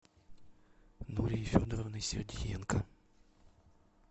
нурией федоровной сергиенко